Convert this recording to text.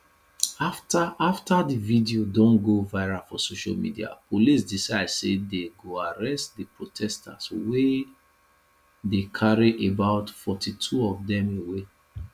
afta afta di video don go viral for social media police decide say dey go arrest di protesters wia dey carry about 42 of dem away